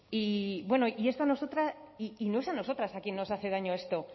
bueno y no es a nosotras a quien nos hace daño esto